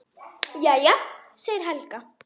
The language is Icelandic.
Jæja, segir Helga.